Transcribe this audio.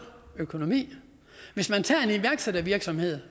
økonomi hvis man tager en iværksættervirksomhed